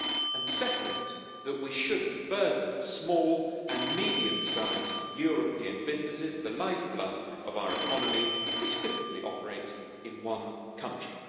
and second, we should not burden small and medium sized European businesses the lifeblood of our economy which typically operate in one country.